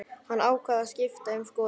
Hann ákvað að skipta um skoðun.